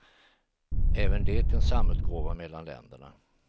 Även det en samutgåva mellan länderna.